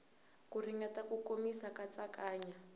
ku ringeta ku komisa katsakanya